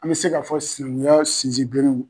An bɛ se ka fɔ sinanguya sinzin bere